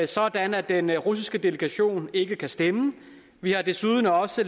sådan at den russiske delegation ikke kan stemme vi har desuden også